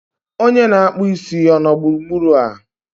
onye na-akpụ isi ọ nọ gburugburu a?